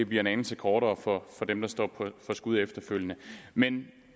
bliver en anelse kortere for dem der står for skud efterfølgende men